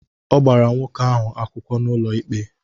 Ọ gbara nwoke ahụ akwụkwọ n'ụlọ ikpe.